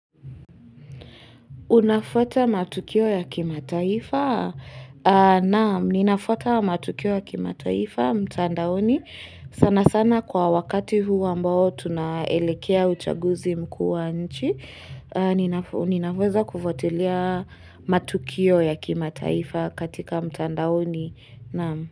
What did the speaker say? Unafuata matukio ya kimataifa? Naam, ninafuata matukio ya kimataifa, mtandaoni. Sana sana kwa wakati huu ambao tunaelekea uchaguzi mkuu wa nchi. Ninaweza kufuatilia matukio ya kimataifa katika mtandaoni. Naam.